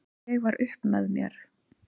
Ég var upp með mér!